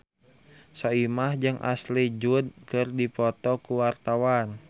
Soimah jeung Ashley Judd keur dipoto ku wartawan